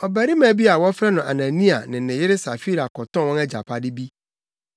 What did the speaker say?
Ɔbarima bi a wɔfrɛ no Anania ne ne yere Safira kɔtɔn wɔn agyapade bi.